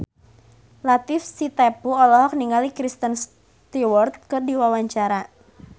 Latief Sitepu olohok ningali Kristen Stewart keur diwawancara